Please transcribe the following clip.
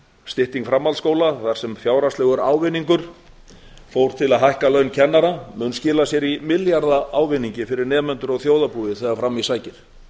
stytting framhaldsskóla var sem fjárhagslegur ávinningur fór til að hækka laun kennara mun skila sér í milljarða ávinningi fyrir nemendur og þjóðarbúið þegar fram í sækir